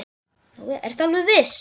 Ertu alveg viss?